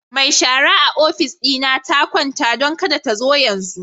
Mai shara a ofis dina ta kwanta, don kada ta zo yanzu.